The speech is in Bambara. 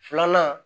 Filanan